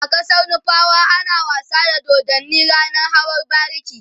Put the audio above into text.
a ƙasar nufawa ana wasa da dodanni ranan hawan bariki